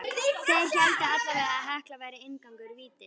Þeir héldu allavega að Hekla væri inngangur vítis.